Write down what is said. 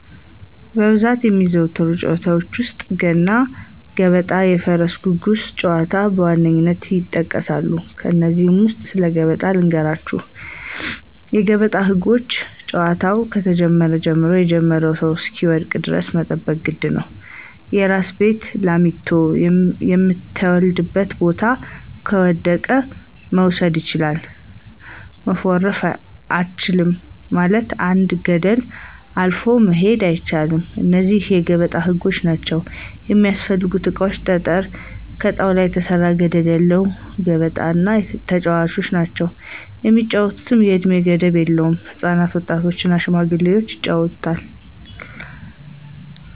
በብዛት የሚዘወተሩ ጨዋታዎች ውስጥ፦ ገና ገበጣ የፈረስ ጉጉስ ጨዋታዎች በዋነኝነት ይጠቀሳሉ። ከነዚህ ውስጥ ስለ ገበጣ ልንገራችሁ የገበጣ ህጎች ጨዋታው ከጀመረ ጀምሮ የጀመረው ሰው እሰሚወድቅ ደረስ መጠበቅ የግድ ነው፦ የራሲን ቤት ላሚቶ ከምተወልድበት ቦታ ከወደቀ መውሰድ ችላል፣ መፎረሽ አቻልም ማለትም አንድን ገደል አልፎ መሆድ አይቻል እነዚህ የገበጣ ህጎች ናቸው። የሚስፈልጉ እቃዎች ጠጠረ፣ ከጣውላ የተሰራ ገደለ ያለው ገበጣ እና ተጨዋቾች ናቸው። የሚጫወቱት የእድሜ ገደብ የለውም ህፃናት፣ ወጣት እና ሽማግሌዎች ይጫወቱታል።